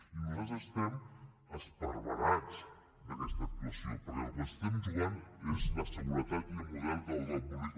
i nosaltres estem esparverats amb aquesta actuació perquè el que ens hi estem jugant és la seguretat i el model d’ordre públic